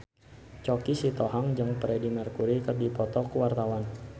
Choky Sitohang jeung Freedie Mercury keur dipoto ku wartawan